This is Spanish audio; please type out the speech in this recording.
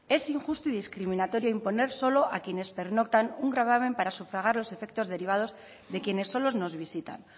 es injusto y discriminatorio imponer solo a quienes pernoctan un gravamen para sufragar los efectos derivados de quienes solo nos visitan